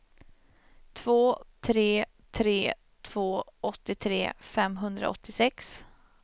två tre tre två åttiotre femhundraåttiosex